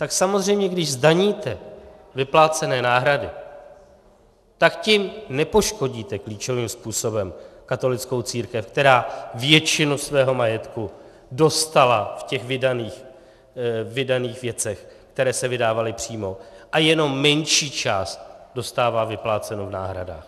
Tak samozřejmě když zdaníte vyplácené náhrady, tak tím nepoškodíte klíčovým způsobem katolickou církev, která většinu svého majetku dostala v těch vydaných věcech, které se vydávaly přímo, a jenom menší část dostává vypláceno v náhradách.